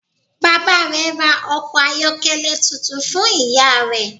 Bàbá rè ra ọkọ̀ ayọ́kẹ́lẹ́ tuntun fun ìyá rẹ